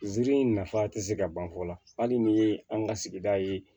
Ziiri in nafa tɛ se ka ban fɔ la hali ni ye an ka sigida ye